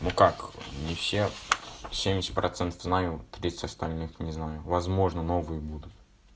ну как не все семьдесят процентов знаю тридцать остальных не знаю возможно новые будут